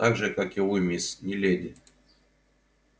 так же как и вы мисс не леди